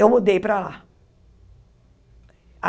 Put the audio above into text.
Eu mudei para lá.